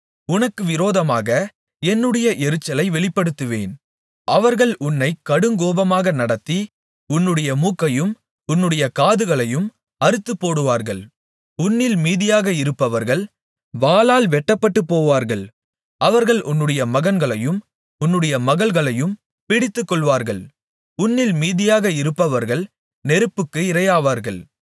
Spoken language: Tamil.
உனக்கு விரோதமாக என்னுடைய எரிச்சலை வெளிப்படுத்துவேன் அவர்கள் உன்னை கடுங்கோபமாக நடத்தி உன்னுடைய மூக்கையும் உன்னுடைய காதுகளையும் அறுத்துப்போடுவார்கள் உன்னில் மீதியாக இருப்பவர்கள் வாளால் வெட்டப்பட்டுபோவார்கள் அவர்கள் உன்னுடைய மகன்களையும் உன்னுடைய மகள்களையும் பிடித்துக்கொள்ளுவார்கள் உன்னில் மீதியாக இருப்பவர்கள் நெருப்புக்கு இரையாவார்கள்